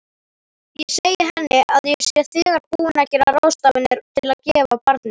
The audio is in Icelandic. Ég segi henni að ég sé þegar búin að gera ráðstafanir til að gefa barnið.